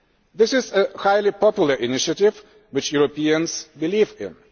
This is a highly popular initiative which Europeans believe in.